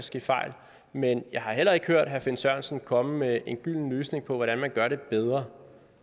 ske fejl men jeg har heller ikke hørt herre finn sørensen komme med en gylden løsning på hvordan man gør det bedre